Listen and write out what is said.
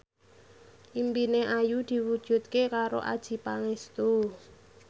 impine Ayu diwujudke karo Adjie Pangestu